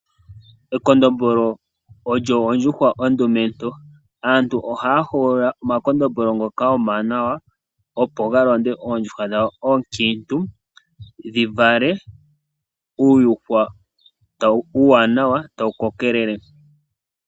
Ekondombolo oyo ondjuhwa ondumentu. Aantu oha ya hogolola omakondombolo ngoka omawanawa opo ga londe oondjuhwa dhawo oonkiintu , opo dhi vale uuyuhwena uuwanawa wo otawu koko tawu endelele.